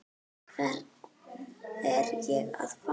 Hvern er ég að fá?